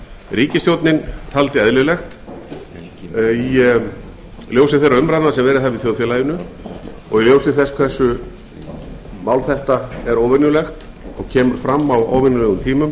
ríkisstjórnin taldi eðlilegt í ljósi þeirra umræðna sem verið hafa í þjóðfélaginu og í ljósi þess hve mál þetta er óvenjulegt og kemur fram á óvenjulegum tímum